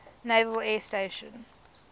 naval air station